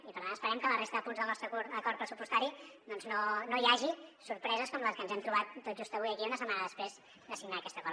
i per tant esperem que a la resta de punts del nostre acord pressupostari doncs no hi hagi sorpreses com les que ens hem trobat tot just avui aquí una setmana després de signar aquest acord